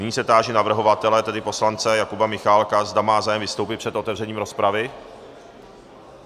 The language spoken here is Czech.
Nyní se táži navrhovatele, tedy poslance Jakuba Michálka, zda má zájem vystoupit před otevřením rozpravy.